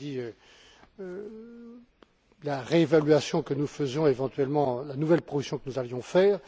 Je vous ai dit la réévaluation que nous faisons, et éventuellement la nouvelle proposition que nous allions faire.